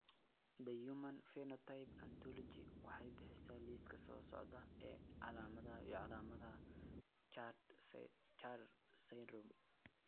The Human Phenotype Ontology waxay bixisaa liiska soo socda ee calaamadaha iyo calaamadaha Char syndrome.